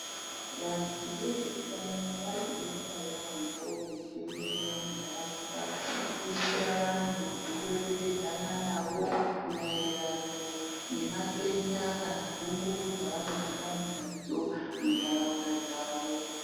Vandu vezveutano varikudetsera yaambo veitenderara munharaunda veidetsera andu nekureketedza andu maringe nematenda kana nhungu dzainenge ainadzo muntaraunda dzavo.